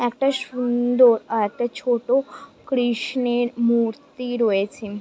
একটা সুন্দর আ একটা ছোট কৃষ্ণের মূর্তি রয়েছে ।